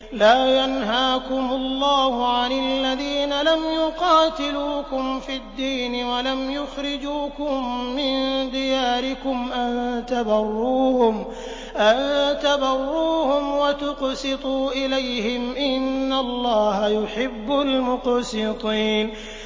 لَّا يَنْهَاكُمُ اللَّهُ عَنِ الَّذِينَ لَمْ يُقَاتِلُوكُمْ فِي الدِّينِ وَلَمْ يُخْرِجُوكُم مِّن دِيَارِكُمْ أَن تَبَرُّوهُمْ وَتُقْسِطُوا إِلَيْهِمْ ۚ إِنَّ اللَّهَ يُحِبُّ الْمُقْسِطِينَ